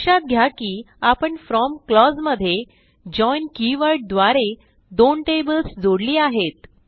लक्षात घ्या की आपण फ्रॉम क्लॉज मध्ये जॉइन कीवर्ड द्वारे दोन टेबल्स जोडली आहेत